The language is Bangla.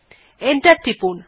এন্টার টিপুন